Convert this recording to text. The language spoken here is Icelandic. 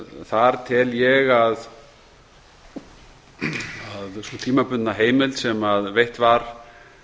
þar tel ég að sú tímabundna heimild sem veitt var